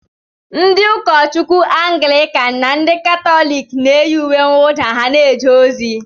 Ndị ụkọchukwu Anglịkan na ndị Katọlik na-eyi uwe mwụda ha ga-eje ozi.